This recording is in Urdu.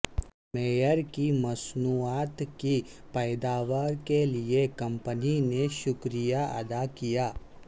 معیار کی مصنوعات کی پیداوار کے لئے کمپنی نے شکریہ ادا کیا